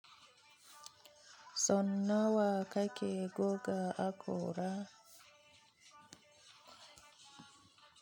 Son nawa kake goga Akora?